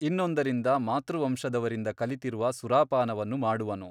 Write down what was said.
ಇನ್ನೊಂದರಿಂದ ಮಾತೃವಂಶದವರಿಂದ ಕಲಿತಿರುವ ಸುರಾಪಾನವನ್ನು ಮಾಡುವನು.